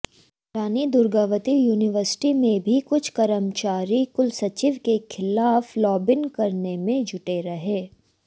रानी Durgavati university में भी कुछ कर्मचारी कुलसचिव के खिलाफ लॉबिंग करने में जुटे रहे